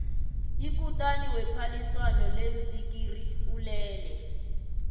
ikutani wephaliswano leentsikiri ulele